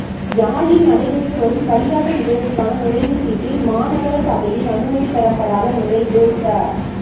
யாழில் நடைபெற்று வரும் களியாட்ட நிகழ்வுக்கான நுழைவு சீட்டில் மாநகர சபையின் அனுமதி பெறப்படாத நுழைவு ச